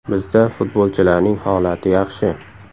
Bizda futbolchilarning holati yaxshi.